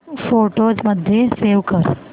photos मध्ये save कर